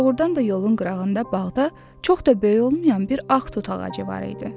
Doğrudan da yolun qırağında bağda çox da böyük olmayan bir ağ tut ağacı var idi.